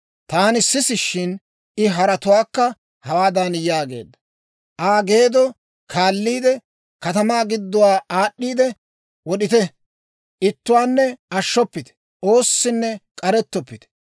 Taani sisishshin, I haratuwaakka hawaadan yaageedda; «Aa geeddo kaalliide, katamaa gidduwaa aad'd'iidde wod'ite! Ittuwaanne ashshoppite; oossinne k'arettoppite.